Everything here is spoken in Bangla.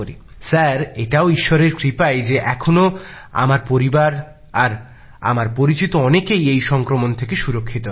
স্যার এটাও ঈশ্বরের কৃপাই যে এখনো আমার পরিবার আর আমার পরিচিত অনেকেই এই সংক্রমণ থেকে সুরক্ষিত আছেন